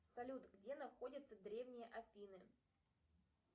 салют где находятся древние афины